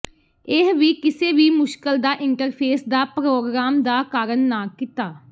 ਇਹ ਵੀ ਕਿਸੇ ਵੀ ਮੁਸ਼ਕਲ ਦਾ ਇੰਟਰਫੇਸ ਦਾ ਪ੍ਰੋਗਰਾਮ ਦਾ ਕਾਰਨ ਨਾ ਕੀਤਾ